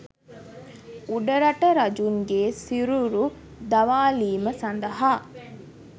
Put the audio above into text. උඩරට රජුන්ගේ සිරුරු දවාලීම සඳහා